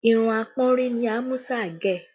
Irun apọ́nrí ni Amusa gẹ̀